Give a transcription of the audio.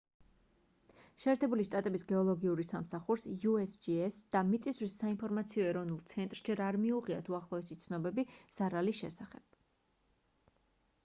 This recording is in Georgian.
შეერთებული შტატების გეოლოგიურ სამსახურს usgs და მიწისძვრის საინფორამციო ეროვნულ ცენტრს ჯერ არ მიუღიათ უახლოესი ცნობები ზარალის შესახებ